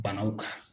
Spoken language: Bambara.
Banaw kan